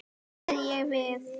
sagði ég við